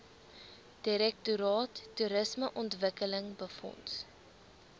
direktoraat toerismeontwikkeling befonds